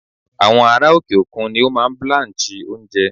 Àwọn ará òkè-òkun ni ó máa ń blanch oúnjẹ.